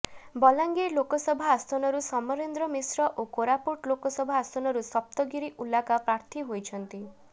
ବଲାଙ୍ଗୀର ଲୋକସଭା ଆସନରୁ ସମରେନ୍ଦ୍ର ମିଶ୍ର ଓ କୋରାପୁଟ ଲୋକସଭା ଆସନରୁ ସପ୍ତଗିରି ଉଲାକା ପ୍ରାର୍ଥୀ ହୋଇଛନ୍ତି